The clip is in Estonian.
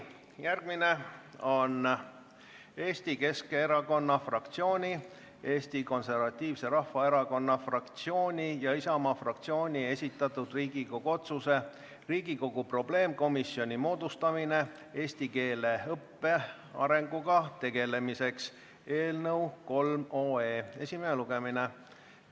Järgmine on Eesti Keskerakonna fraktsiooni, Eesti Konservatiivse Rahvaerakonna fraktsiooni ja Isamaa fraktsiooni esitatud Riigikogu otsuse "Riigikogu probleemkomisjoni moodustamine eesti keele õppe arenguga tegelemiseks" eelnõu esimene lugmine.